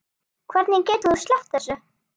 Hvernig getur þú sleppt þessu?